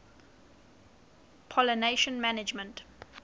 pollination management